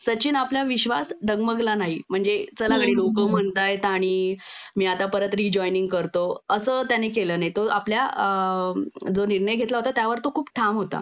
सचिन आपला विश्वास डगमगला नाही म्हणजे चला गडी लोक म्हणतायत आणि मी आता परत रिजॉईनिंग करतो असं त्याने केलं नाही तो आपल्या अ जो निर्णय घेतला होता त्यावर तो खूप ठाम होता